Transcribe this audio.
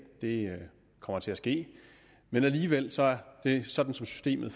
det kommer til at ske men sådan som systemet